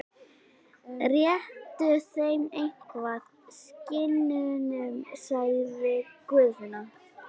Réttu þeim eitthvað, skinnunum, sagði Guðfinna.